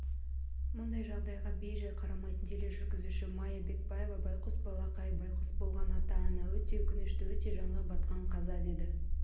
мұндай жағдайға бей-жай қарамайтын тележүргізуші майя бекбаева байғұс балақай байғұс болған ата-ана өте өкінішті өте жанға батқан қаза деді